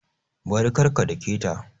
Bari! kar ka dake ta